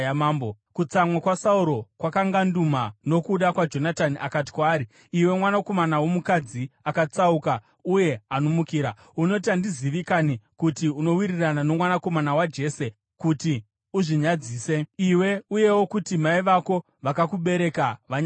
Kutsamwa kwaSauro kwakanganduma nokuda kwaJonatani, akati kwaari, “Iwe mwanakomana womukadzi akatsauka uye anomukira! Unoti handizivi kanhi kuti unowirirana nomwanakomana waJese kuti uzvinyadzise, iwe uyewo kuti mai vako vakakubereka vanyadziswe.